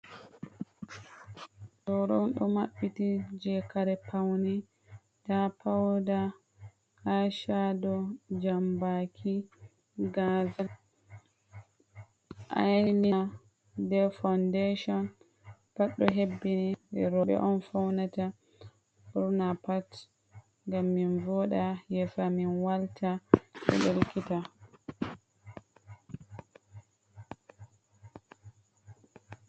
Booro on ɗo maɓɓiti jei kare paune, nda pauda aishado, jambaki, gazal, ailaina, ɓe faundeshin pat ɗo hebbini. Rooɓe on faunata ɓurna pat ngam min voɗa yeeso amin walta ɗelkita.